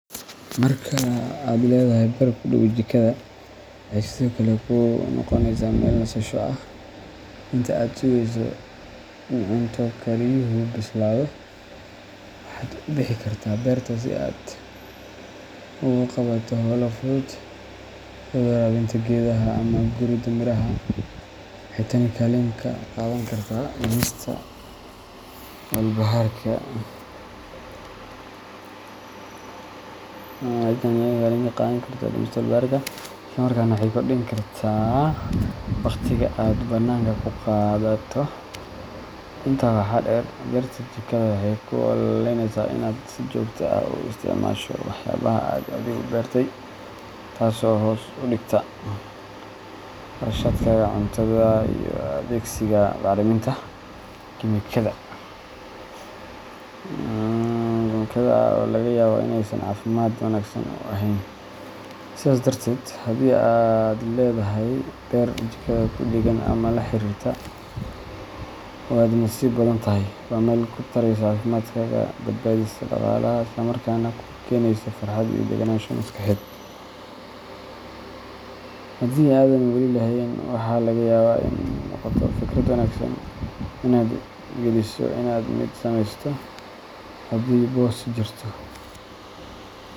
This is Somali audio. Marka aad leedahay beer ku dhow jikada, waxay sidoo kale kuu noqoneysaa meel nasasho ah. Inta aad sugeyso in cunto kariyuhu bislaado, waxaad u bixi kartaa beerta si aad u qabato hawlo fudud, sida waraabinta geedaha ama guridda miraha. Waxay tani kaalin ka qaadan kartaa dhimista walbahaarka, isla markaana waxay kordhin kartaa waqtiga aad bannaanka ku qaadato. Intaa waxaa dheer, beerta jikada waxay kuu oggolaaneysaa inaad si joogto ah u isticmaasho waxyaabaha aad adigu beertay, taas oo hoos u dhigta kharashaadkaaga cuntada iyo adeegsiga bacriminta kiimikada ah ee laga yaabo inaysan caafimaadka wanaagsan u ahayn. Sidaas darteed, haddii aad leedahay beer jikada ku dheggan ama la xiriirta, waad nasiib badan tahay. Waa meel ku taraysa caafimaadkaaga, badbaadisa dhaqaalaha, isla markaana kuu keenaysa farxad iyo degganaansho maskaxeed. Haddii aadan wali lahayn, waxaa laga yaabaa inay noqoto fikrad wanaagsan inaad tixgeliso in aad mid sameysato haddii boos jirto.